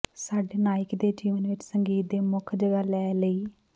ਸਾਡੇ ਨਾਇਕ ਦੇ ਜੀਵਨ ਵਿੱਚ ਸੰਗੀਤ ਦੇ ਮੁੱਖ ਜਗ੍ਹਾ ਲੈ ਲਈ